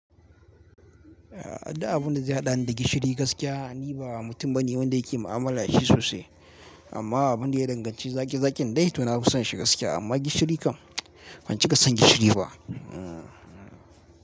Eh, adda abunda ya haɗani da gishiri gaskiya, ni ba mutum bane wanda yake mu'amala da shi sosai. Amma abunda ya danganci zaƙi zaƙin dai to na fi son shi gaskiya. Amma gishiri kan, ban cika son gishiri ba. Hmm.